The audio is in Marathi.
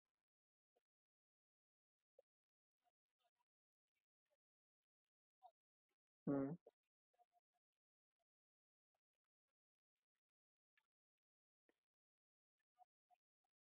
तर sir तुम्हाला म्हणजे हा piece बदलून हवं असेल तर एक नवीन म्हणजे advancement म्हणजे नाव हेच राहणार आहे l m tripal door fridge advancement